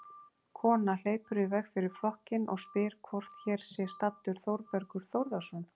Kona hleypur í veg fyrir flokkinn og spyr hvort hér sé staddur Þórbergur Þórðarson.